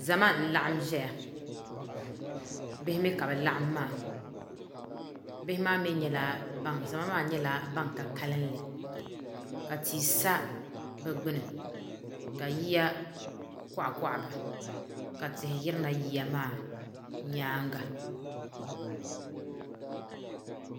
Zama n-laɣim ʒɛya bihi mi ka bɛ laɣim maa bihi maa mi nyɛla ban zama maa mi nyɛla ban ka kalinli ka tii sa bɛ gbuni ka yiya kɔɣi kɔɣi ba ka tihi yirina yiya maa nyaanga